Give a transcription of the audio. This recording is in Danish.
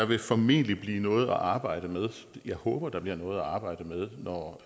vil formentlig blive noget at arbejde med jeg håber at der bliver noget at arbejde med når